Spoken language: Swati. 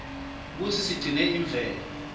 kutsi sigcine imvelo